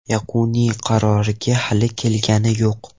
Yakuniy qarorga hali kelingani yo‘q.